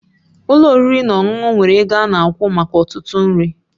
Ụlọ oriri na ọṅụṅụ nwere ego ana akwụ maka ọtụtụ nri